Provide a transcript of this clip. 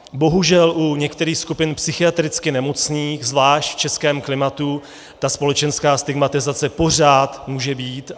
Bohužel u některých skupin psychiatricky nemocných, zvlášť v českém klimatu, ta společenská stigmatizace pořád může být.